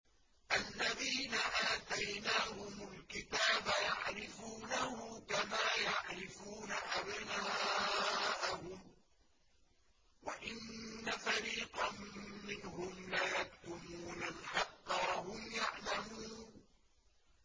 الَّذِينَ آتَيْنَاهُمُ الْكِتَابَ يَعْرِفُونَهُ كَمَا يَعْرِفُونَ أَبْنَاءَهُمْ ۖ وَإِنَّ فَرِيقًا مِّنْهُمْ لَيَكْتُمُونَ الْحَقَّ وَهُمْ يَعْلَمُونَ